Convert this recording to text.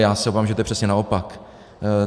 Já se obávám, že to je přesně naopak.